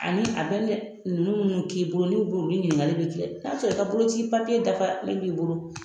Ani a bɛ dɛ ninnu k'i bolo n'u b'olu ɲininkali bɛ kɛ n'a sɔrɔ i ka boloci papiye dafalen b'i bolo